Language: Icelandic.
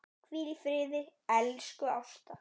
Hvíl í friði, elsku Ásta.